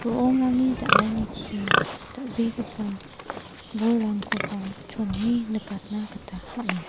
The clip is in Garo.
ro·ongrangni dal·anichi dal·begipa bolrangkoba chone nikatna gita man·a.